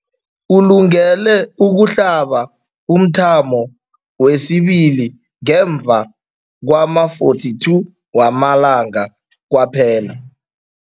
Ulungele ukuhlaba umthamo wesibili ngemva kwama-42 wamalanga kwaphela.